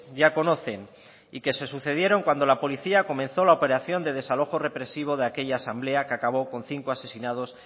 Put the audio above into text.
ya conocen y que se sucedieron cuando la policía comenzó la operación de desalojo represivo de aquella asamblea que acabó con cinco asesinados